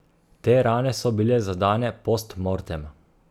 Te rane so bile zadane post mortem.